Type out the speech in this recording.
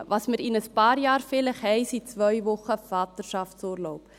Was wir in einigen Jahren vielleicht haben werden, sind zwei Wochen Vaterschaftsurlaub.